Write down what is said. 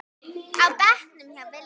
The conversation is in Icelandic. á bekknum hjá Villa.